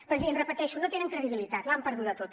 president ho repeteixo no tenen credibilitat l’han perduda tota